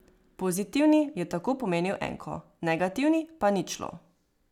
Pozitivni je tako pomenil enko, negativni pa ničlo.